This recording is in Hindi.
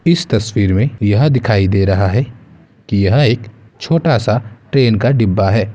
इस तस्वीर में यह दिखाई दे रहा है कि यह एक छोटा सा ट्रेन का डिब्बा है।